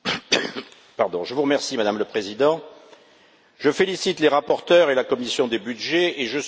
Madame la Présidente, je félicite les rapporteurs et la commission des budgets et je soutiens leur proposition.